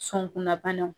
Sɔnkunnabanaw